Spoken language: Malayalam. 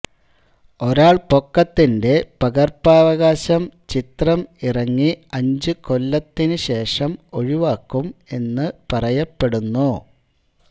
ഒരാൾപൊക്കത്തിന്റെ പകർപ്പവകാശം ചിത്രം ഇറങ്ങി അഞ്ചു കൊല്ലത്തിനു ശേഷം ഒഴിവാക്കും എന്ന് പറയപ്പെടുന്നു